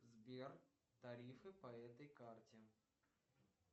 сбер тарифы по этой карте